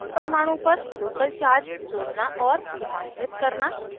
एक परमाणु पर local charge जोड़ना और रूपांतरित करना